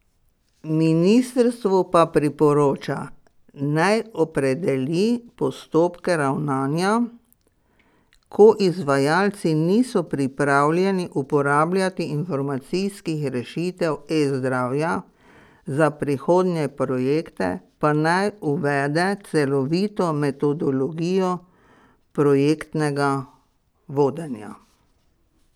Ministrstvu pa priporoča, naj opredeli postopke ravnanja, ko izvajalci niso pripravljeni uporabljati informacijskih rešitev eZdravja, za prihodnje projekte pa naj uvede celovito metodologijo projektnega vodenja.